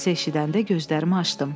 Səsi eşidəndə gözlərimi açdım.